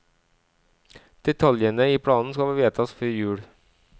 Detaljene i planen skal vedtas før jul.